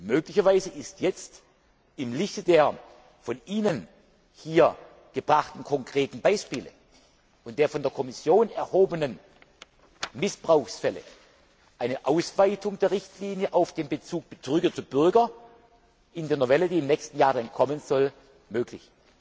Möglicherweise ist jetzt im Lichte der von Ihnen hier aufgeführten konkreten Beispiele und der von der Kommission aufgedeckten Missbrauchsfälle eine Ausweitung der Richtlinie auf den Bezug Betrüger Bürger in der Novelle, die im nächsten Jahr kommen soll, möglich.